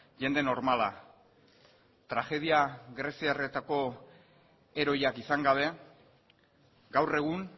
jende normala tragedia greziarretako heroiak izan gabe gaur egun